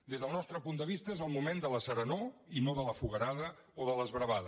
des del nostre punt de vista és el moment de la serenor i no de la foguerada o de l’esbravada